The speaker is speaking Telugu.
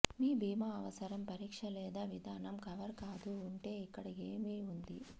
మీ భీమా అవసరం పరీక్ష లేదా విధానం కవర్ కాదు ఉంటే ఇక్కడ ఏమి ఉంది